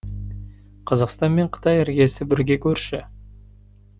қазақстан мен қытай іргесі бірге көрші